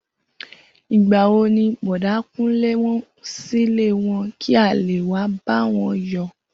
Igbà wo ni Bò̩dá Kúnlé ń silé wo̩n kí a lè wá bá wo̩n yò̩?